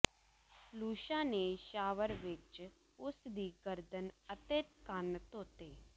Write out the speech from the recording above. ਲੁਸ਼ਾ ਨੇ ਸ਼ਾਵਰ ਵਿਚ ਉਸ ਦੀ ਗਰਦਨ ਅਤੇ ਕੰਨ ਧੋਤੇ